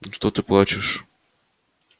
ну что ты плачешь